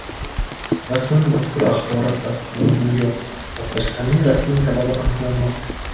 Rasman mazkur axborot tasdiqlangani yo‘q, portlashlarning rasmiy sababi aniqlanmoqda.